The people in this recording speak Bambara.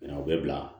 Ɲɔn o bɛ bila